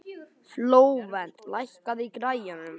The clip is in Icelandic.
Flóvent, lækkaðu í græjunum.